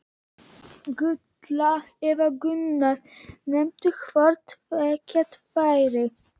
Gulla eða Gunna, nema hvort tveggja væri.